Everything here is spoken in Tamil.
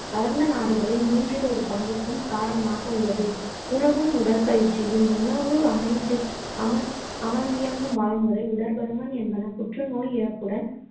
வளர்ந்த நாடுகளில் மூன்றில் ஒரு பங்குக்கும் காரணமாக உள்ளது. உணவும் உடற்பயிற்சியும் உணவு, அமைந்து~ அமர்ந்தி~ அமர்ந்தியங்கும் வாழ்முறை, உடற் பருமன் என்பன புற்றுநோய் இறப்புடன்